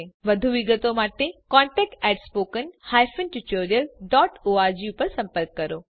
વધુ વિગતો માટે કૃપા કરી contact at spoken hyphen tutorial dot org પર સંપર્ક કરો